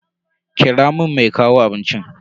Kira mun mai kawo abincin.